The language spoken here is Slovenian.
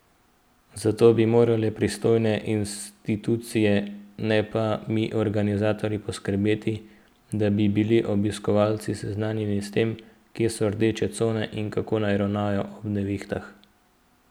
Zato bi morale pristojne institucije, ne pa mi organizatorji poskrbeti, da bi bili obiskovalci seznanjeni s tem, kje so rdeče cone in kako naj ravnajo ob nevihtah.